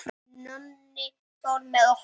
Nonni fór með okkur.